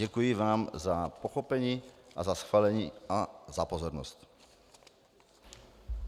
Děkuji vám za pochopení a za schválení a za pozornost.